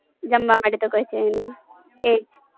જમવા માટે તો કોઈ છે ની એજ